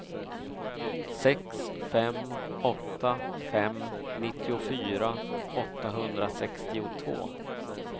sex fem åtta fem nittiofyra åttahundrasextiotvå